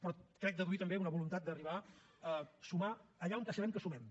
però crec deduir també una voluntat d’arribar a sumar allà on sabem que sumem